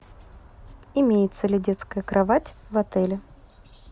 имеется ли детская кровать в отеле